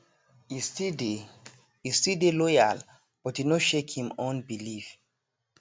e still dey e still dey loyal but e no shake him own belief